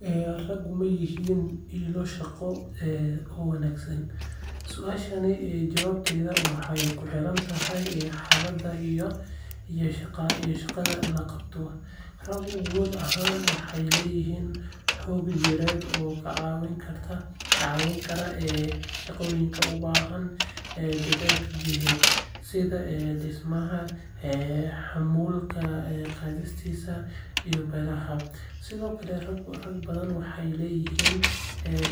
Raggu ma yihiin ilo shaqo oo wanaagsan? Su’aashaas jawaabteeda waxay ku xirantahay xaaladda iyo shaqada la qabto. Raggu guud ahaan waxay leeyihiin xoog jireed oo ka caawin kara shaqooyinka u baahan dadaalka jidheed sida dhismaha, xamuulka qaadista, iyo beeralayda. Sidoo kale, rag badan waxay leeyihiin